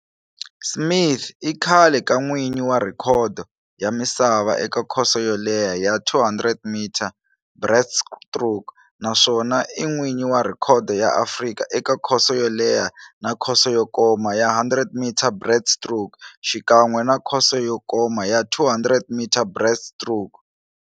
Smith i khale ka n'wini wa rhekhodo ya misava eka khoso yo leha ya 200-metre breaststroke naswona i n'wini wa rhekhodo ya Afrika eka khoso yo leha na khoso yo koma ya 100-metre breaststroke, xikan'we na khoso yo koma ya 200-metre breaststroke.